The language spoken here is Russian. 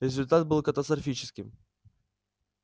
результат был катастрофическим